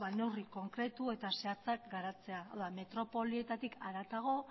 neurri konkretu eta zehatzak garatzea hau da metropolietatik haratago